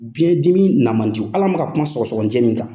Biɲɛdimi na ma di hal'an bɛ ka kuma sɔgɔsɔgɔninjɛ min kan.